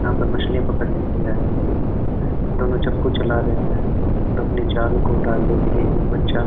यहां पर मछलियां पकड़ने के लिए आए हैं ये दोनों चप्पू चला रहे हैं और अपनी जाल को डालने के लिए एक बच्चा --